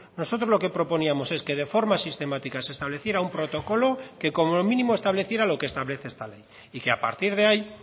nosotros lo que proponíamos es que de forma sistemática se estableciera un protocolo que como mínimo estableciera lo que establece esta ley y que a partir de ahí